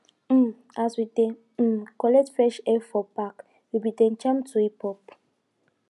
um as we dey um collect fresh air for park we bin dey jam to hiphop